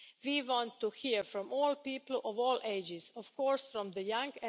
We want to hear from all people of all ages and, of course, from the young.